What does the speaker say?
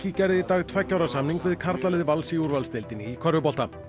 gerði í dag tveggja ára samning við karlalið Vals í úrvalsdeildinni í körfubolta